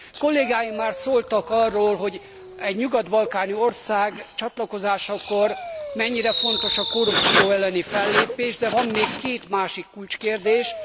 Kollégáim már szóltak arról, hogy egy nyugat balkáni ország csatlakozásakor mennyire fontos a korrupció elleni fellépés, de van még két másik kulcskérdés.